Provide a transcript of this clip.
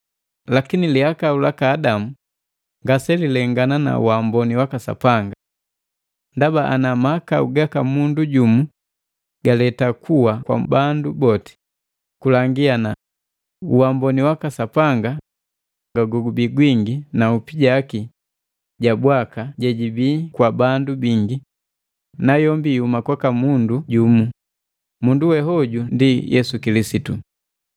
Lakini lihakau laka Adamu ngase lilengana na waamboni waka Sapanga. Ndaba ana mahakau gaka mundu jumu galeta kuwa kwa bandu boti, kulangi ana uamboni waka Sapanga gobii gwingi na nhupi jaki ja bwaka jejibii kwa bandu bingi, nayombi ihuma kwaka mundu jumu, mundu we hoju ndi Yesu Kilisitu.